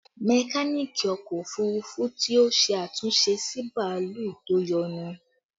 Mekaniki ọkọ òfurufú ti ṣe àtúnṣe sí bàálù tó yọnu